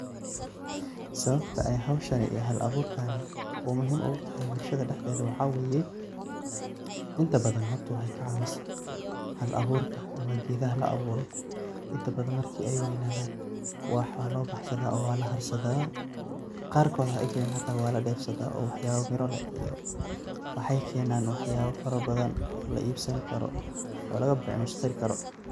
Sababta ay howshani hal abuurkani uu muhiim ugu tahay bulshada dhexdeeda waxaa waay, inta badan horta waxay ka caawisaa hal abuurka ama geedaha la abuuro. Inta badan marka ay weynaadaan wax waa loo baxsadaa oo waa la harsadaa. Qaarkood hata waa la dhef saadaa oo waxyaabo miro lex iyo waxay keenaan waxyaabo farabadan oo la iibasani karo oo laga becmushtari karo.